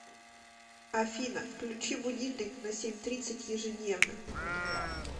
афина включи будильник на семь тридцать ежедневно